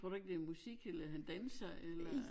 Tror du ikke det er musik eller han danser eller